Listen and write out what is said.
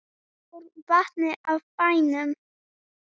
Svo fór vatnið af bænum.